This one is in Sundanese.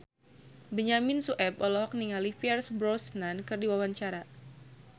Benyamin Sueb olohok ningali Pierce Brosnan keur diwawancara